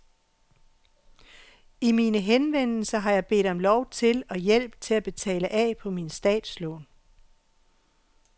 I mine henvendelser har jeg bedt om lov til og hjælp til at betale af på mine statslån.